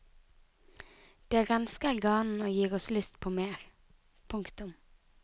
Det rensker ganen og gir oss lyst på mer. punktum